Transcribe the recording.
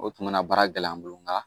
O tun bɛ na baara gɛlɛya an bolo nga